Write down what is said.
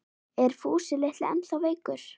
Er Fúsi litli ennþá veikur?